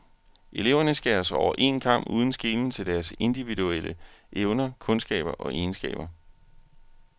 Eleverne skæres over en kam uden skelen til deres individuelle evner, kundskaber og egenskaber.